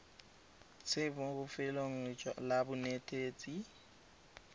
enale mo lefelong la bonetetshi